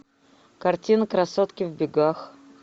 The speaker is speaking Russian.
картина красотки в бегах